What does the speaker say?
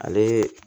Ale